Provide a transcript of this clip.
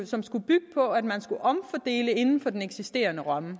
som skulle bygge på at man skulle omfordele inden for den eksisterende ramme